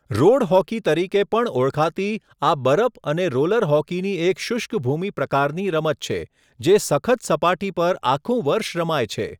Road hockey તરીકે પણ ઓળખાતી આ બરફ અને રોલર હોકીની એક શુષ્ક ભૂમિ પ્રકારની રમત છે, જે સખત સપાટી પર આખું વર્ષ રમાય છે.